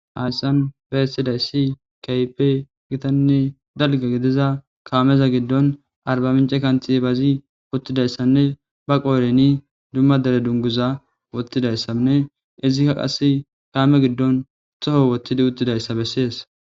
Hayssan be essidayssi kaype gitanne dalga gidiza kaameza giddon arbamince kanthi baazi wottidayssanne ba qooreni dumma dere dunguza wottidayssanne izikka qas kaame giddon toho wottidi uttidayssa bessees.